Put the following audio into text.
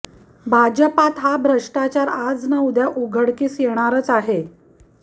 भाजपता हा भ्रष्टाचार आज ना उद्या उघडकीस येणारच आहे